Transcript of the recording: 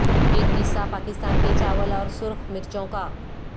ایک قصہ پاکستان کے چاول اور سرخ مرچوں کا